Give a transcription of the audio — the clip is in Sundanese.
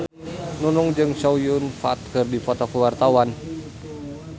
Nunung jeung Chow Yun Fat keur dipoto ku wartawan